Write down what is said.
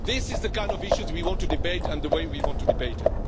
This is the kind of issue we want to debate and the way we want to debate it.